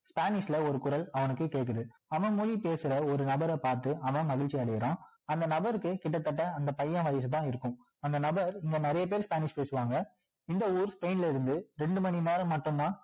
spanish ல ஒரு குரல் அவனுக்கு கேட்குது அவன் பொழி பேசுற ஒரு நபரை பார்த்து அவன் மகிழ்ச்சி அடையிறான் அந்த நபருக்கு கிட்டத்தட்ட அந்த பையன் வயசு தான் இருக்கும் அந்த நபர் இங்க நிறைய பேரு spanish பேசுவாங்க இந்த ஊரு time ல இருந்து ரெண்டு மணி நேரம் மட்டும் தான்